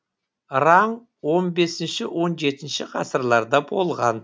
раң он бесінші он жетінші ғасырларда болған